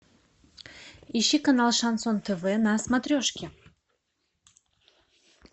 ищи канал шансон тв на смотрешке